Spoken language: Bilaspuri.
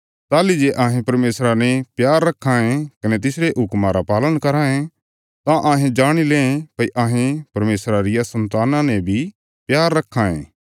ताहली जे अहें परमेशरा ने प्यार रक्खां ये कने तिसरे हुक्मां रा पालन कराँ ये तां अहें जाणी लें भई अहें परमेशरा रिया सन्तानां ने बी प्यार रक्खां ये